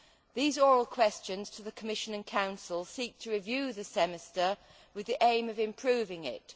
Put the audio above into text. These oral questions to the Commission and Council seek to review the Semester with the aim of improving it.